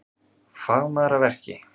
Fagmaður að verki